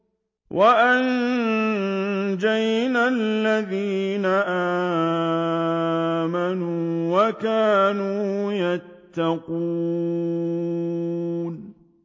وَأَنجَيْنَا الَّذِينَ آمَنُوا وَكَانُوا يَتَّقُونَ